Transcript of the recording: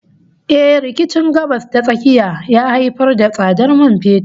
Eh, rikicin Gabas ta Tsakiya ya haifar da tsadar man fetur